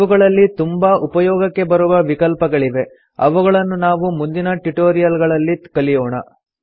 ಇವುಗಳಲ್ಲಿ ತುಂಬಾ ಉಪಯೋಗಕ್ಕೆ ಬರುವ ವಿಕಲ್ಪಗಳಿವೆ ಅವುಗಳನ್ನು ನಾವು ಮುಂದಿನ ಟ್ಯುಟೋರಿಯಲ್ ಗಳಲ್ಲಿ ಕಲಿಯೋಣ